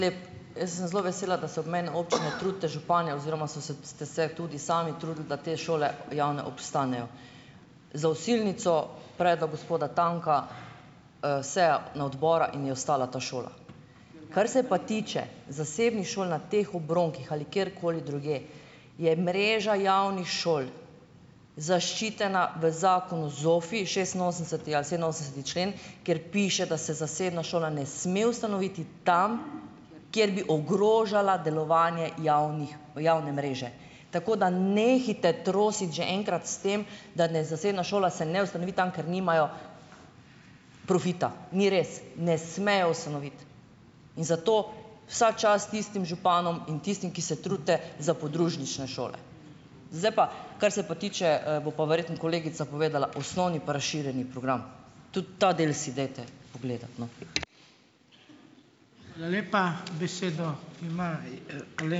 Lep, jaz sem zelo vesela, da se obmejne občine trudite, župani oziroma so se, ste se tudi sami trudili, da te šole, javne, obstanejo. Za Osilnico predlog gospoda Tanka, seja na odbora in je ostala ta šola. Kar se pa tiče zasebnih šol na teh obronkih ali kjerkoli drugje, je mreža javnih šol zaščitena v zakonu ZOFVI, šestinosemdeseti ali sedeminosemdeseti člen, kjer piše, da se zasebna šola ne sme ustanoviti tam, kjer bi ogrožala delovanje javnih, javne mreže, tako da nehajte trositi že enkrat s tem, da naj zasebna šola se ne ustanovi tam, ker nimajo profita. Ni res. Ne smejo ustanoviti in zato vsa čast tistim županom in tistim, ki se trudite za podružnične šole. Zdaj pa, kar se pa tiče, bo pa verjetno kolegica povedala: osnovni pa razširjeni program. Tudi ta del si dajte pogledati, no.